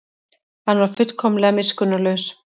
Hann var fullkomlega miskunnarlaus.